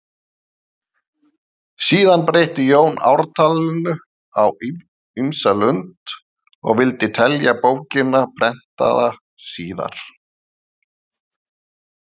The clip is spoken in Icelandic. Síðar breytti Jón ártalinu á ýmsa lund og vildi telja bókina prentaða síðar.